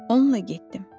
Onunla getdim.